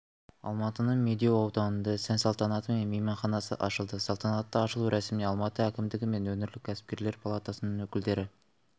алматының медеу ауданында сән-салтанатымен мейманханасы ашылды салтанатты ашылу рәсіміне алматы әкімдігі мен өңірлік кәсіпкерлер палатасының өкілдері